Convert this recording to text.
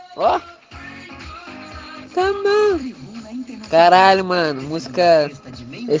королева мужская